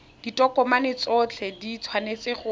ditokomane tsotlhe di tshwanetse go